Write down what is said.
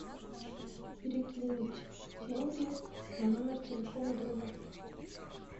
перекинуть деньги на номер телефона друга